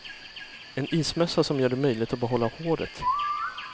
En ismössa som gör det möjligt att behålla håret.